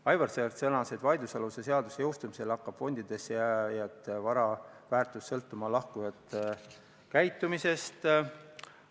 Aivar Sõerd sõnas, et vaidlusaluse seaduse jõustumisel hakkab fondides vara väärtus sõltuma lahkujate käitumisest.